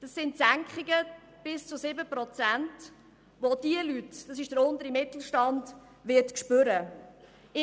Es sind Senkungen von bis zu 7 Prozent, die diese Leute – betroffen ist der untere Mittelstand – spüren werden.